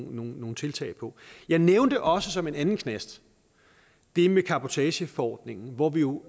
nogle nogle tiltag på jeg nævnte også som en anden knast det med cabotageforordningen hvor vi jo